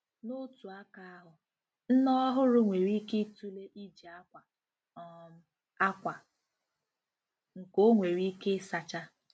N'otu aka ahụ, nne ọhụrụ nwere ike ịtụle iji akwa um akwa nke ọ nwèrè ike ịsacha.